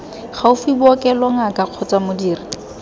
gaufi bookelo ngaka kgotsa modiri